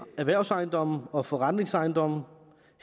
erhvervsejendomme og forretningsejendomme